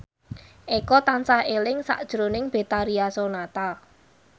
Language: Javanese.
Eko tansah eling sakjroning Betharia Sonata